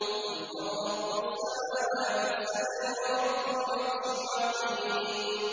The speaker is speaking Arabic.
قُلْ مَن رَّبُّ السَّمَاوَاتِ السَّبْعِ وَرَبُّ الْعَرْشِ الْعَظِيمِ